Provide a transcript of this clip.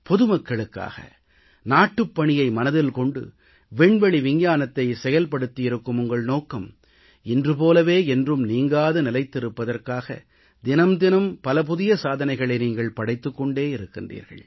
பொதுமக்களுக்காக நாட்டுப் பணியை மனதில் கொண்டு விண்வெளி விஞ்ஞானத்தை செயல்படுத்தியிருக்கும் உங்கள் நோக்கம் இன்று போலவே என்றும் நீங்காது நிலைத்திருப்பதற்காக தினம் தினம் பல புதிய சாதனைகளை நீங்கள் படைத்துக் கொண்டே இருக்கின்றீர்கள்